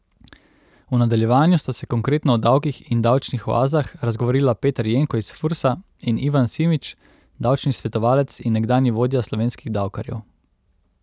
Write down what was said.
V nadaljevanju sta se konkretno o davkih in davčnih oazah razgovorila Peter Jenko iz Fursa in Ivan Simič, davčni svetovalec in nekdanji vodja slovenskih davkarjev.